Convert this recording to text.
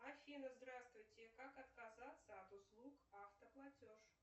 афина здравствуйте как отказаться от услуг автоплатеж